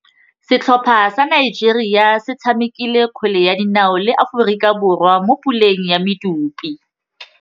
Setlhopha sa Nigeria se tshamekile kgwele ya dinaô le Aforika Borwa mo puleng ya medupe.